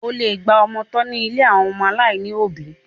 O lè gba ọmọ tọ́ ní ilé àwọn ọmọ aláìní òbí.